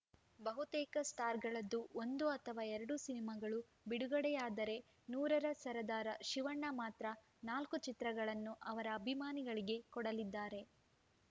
ಬಹುತೇಕ ಸ್ಟಾರ್‌ಗಳದ್ದು ಒಂದು ಅಥವಾ ಎರಡು ಸಿನಿಮಾಗಳು ಬಿಡುಗಡೆಯಾದರೆ ನೂರರ ಸರದಾರ ಶಿವಣ್ಣ ಮಾತ್ರ ನಾಲ್ಕು ಚಿತ್ರಗಳನ್ನು ಅವರ ಅಭಿಮಾನಿಗಳಿಗೆ ಕೊಡಲಿದ್ದಾರೆ